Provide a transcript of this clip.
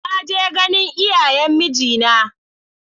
Na je ganin iyayen mijina na.